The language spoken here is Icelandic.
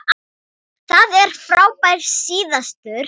Það er frábær staður.